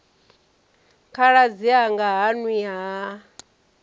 khaladzi anga ha nwi ha